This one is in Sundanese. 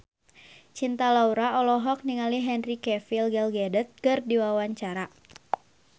Cinta Laura olohok ningali Henry Cavill Gal Gadot keur diwawancara